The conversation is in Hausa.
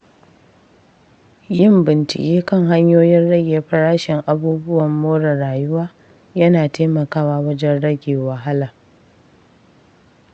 Yin bincike kan hanyoyin rage farashin abubuwan more rayuwa yana taimakawa wajen rage wahala.